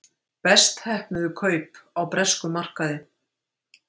Best heppnuðu kaup á breskum markaði